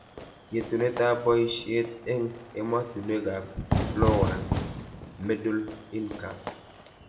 Yetunetab boishiet eng ematunwekab Lowand Middle-Income